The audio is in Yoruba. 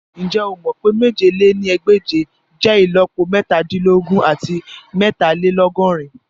Njẹ o mọ pe mèje lé ní ẹgbẹ́je jẹ ìlọ́po metadinlogun ati meetalelogorin?